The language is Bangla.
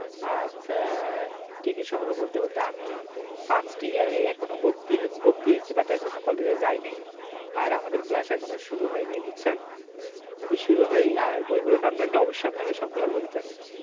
আচ্ছা আহ দিদির সম্পর্কে বলতে বলতে আমি first year এ এখনো ভর্তি ভর্তি হয়েছি but এখনও college এ যায় নাই আর আমাদের class এখনো শুরু হয়নি বুঝছেন যদি শুরু হয় আর বইগুলি বই গুলোর নাম জানলে অবশ্যই আপনাকে সবগুলা বলতাম